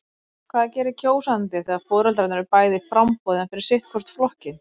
Hvað gerir kjósandi þegar foreldrarnir eru bæði í framboði en fyrir sitt hvorn flokkinn?